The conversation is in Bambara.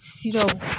Sidaw